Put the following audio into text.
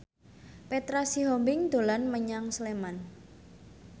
Petra Sihombing dolan menyang Sleman